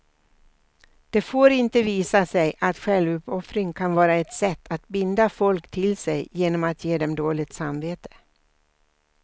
Det får inte visa sig att självuppoffring kan vara ett sätt att binda folk till sig genom att ge dem dåligt samvete.